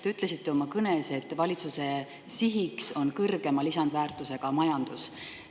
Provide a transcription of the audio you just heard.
Te ütlesite oma kõnes, et valitsuse siht on kõrgema lisandväärtusega majandus.